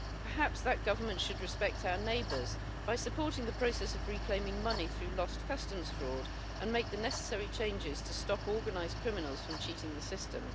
Perhaps that government should respect our neighbours by supporting the process of reclaiming money through lost customs fraud and make the necessary changes to stop organised criminals from cheating the system.